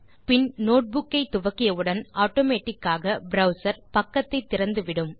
பின் notebook ஐ துவக்கியவுடன் automatic ஆக ப்ரவ்சர் பக்கத்தை திறந்து விடும்